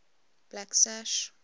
blacksash